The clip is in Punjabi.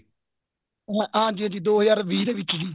ਹਾਂਜੀ ਹਾਂਜੀ ਦੋ ਹਜ਼ਾਰ ਵੀਹ ਦੇ ਵਿੱਚ ਜੀ